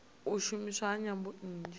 u shumiswa ha nyambo nnzhi